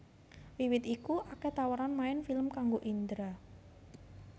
Wiwit iku akèh tawaran main film kangggo Indra